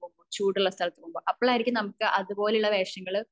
അല്ലെങ്കിൽ തണുപ്പ് കൂടിയ സ്ഥലത്തു പോകുമ്പോ അപ്പളായിരിക്കും നമുക്ക് അതുപോലുള്ള വേഷങ്ങള്